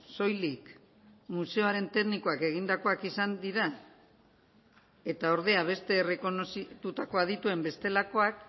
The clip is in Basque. soilik museoaren teknikoak egindakoak izan dira eta ordea beste errekonozitutako adituen bestelakoak